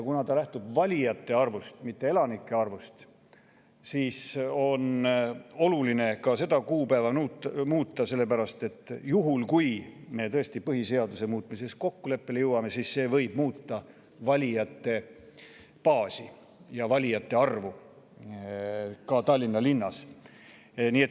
Kuna ta lähtub valijate arvust, mitte elanike arvust, siis on oluline ka seda kuupäeva muuta, sest juhul, kui me tõesti põhiseaduse muutmises kokkuleppele jõuame, võib see muuta valijate baasi ja valijate arvu ka Tallinna linnas.